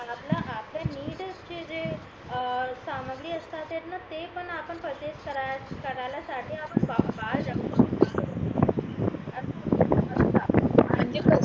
चे जे सामग्री असतात ते पण आपण परचेसे करायला साठी आपण